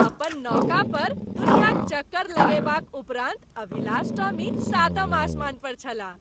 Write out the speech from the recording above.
अपन नौका पर दुनियाक चक्कर लगयबाक उपरान्त अभिलाष टॉमी सातम आसमान पर छलाह।